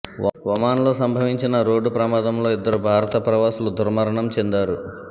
ఒమాన్లో సంభవించిన రోడ్డు ప్రమాదంలో ఇద్దరు భారత ప్రవాసులు దుర్మరణం చెందారు